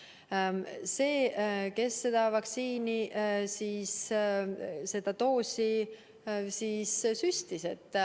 Vastutab see, kes selle vaktsiinidoosi süstis.